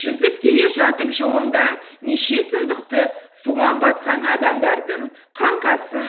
жүзіп келе жатып жолында неше сұмдықты суға батқан адамдардың қаңқасын